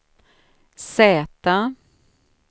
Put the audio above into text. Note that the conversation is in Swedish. Z